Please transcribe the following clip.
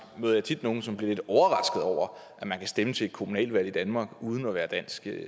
møder jeg tit nogle som bliver lidt overraskede over at man kan stemme til et kommunalvalg i danmark uden at være dansk